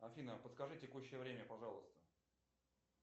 афина подскажи текущее время пожалуйста